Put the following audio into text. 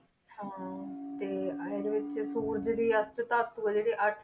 ਹਾਂ ਤੇ ਇਹਦੇ ਵਿੱਚ ਸੂਰਜ ਦੀ ਅਸਟ ਧਾਤੂ ਆ ਜਿਹੜੇ ਅੱਠ